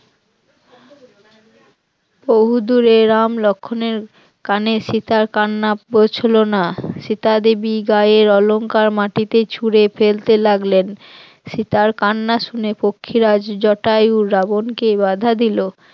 বহুদূরে রাম লক্ষণের কানে সীতার কান্না পৌঁছল না সীতা দেবী গায়ের অলংকার মাটিতে ছুঁড়ে ফেলতে লাগলেন, সীতার কান্না শুনে পক্ষীরাজ জটায়ু রাবণকে বাধা দিল